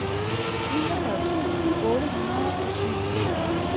niogfyrre tusind otte hundrede og syv